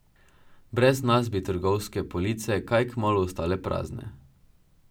Brez nas bi trgovske police kaj kmalu ostale prazne.